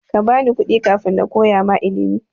Kabani kuɗi kafin nakoya ma ilimi.